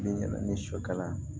Min ni sɔ kala